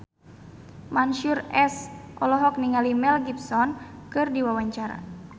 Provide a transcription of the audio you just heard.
Mansyur S olohok ningali Mel Gibson keur diwawancara